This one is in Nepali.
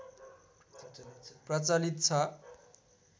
प्रचलित छ